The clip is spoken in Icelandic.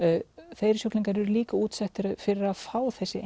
þeir sjúklingar eru líka útsettari fyrir að fá þessi